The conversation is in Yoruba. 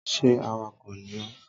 Are you a driver?